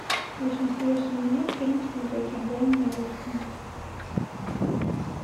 восемьдесят восемь минут фильм смотреть онлайн на русском